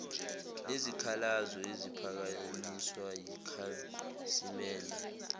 nezikhalazo eziphakanyiswa yikhasimende